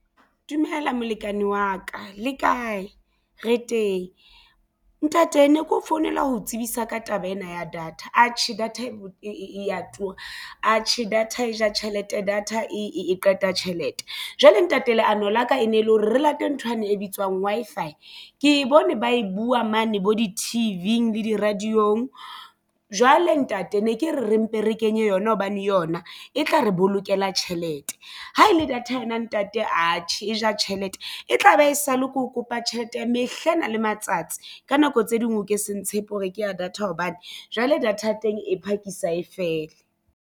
Dumela molekane wa ka le kae re teng? Ntate ne keo founela ho tsebisa ka taba ena ya data atjhe data e a tura atjhe data e ja tjhelete data e qete ya tjhelete. Jwale ntate leano la ka e ne le hore re late nthwane e bitswang Wi-Fi. Ke w bone ba e buwa mane bo di-T_V le di-radio-ng jwale ntate ne ke re re mpe re kenye yona hobane yona e tla re bo lokela tjhelete ha e le data yona ntate atjhe e ja tjhelete e tla be e sale ke ho kopa tjhelete ya mehla ena le matsatsi ka nako tse ding o ke se ntshepe hore ke ya data hobane jwale data ya teng e phakisa e fele.